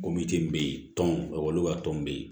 be yen tɔn ka tɔn be yen